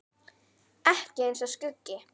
Ekki eins og skuggi.